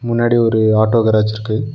முன்னாடி ஒரு auto garage இருக்கு.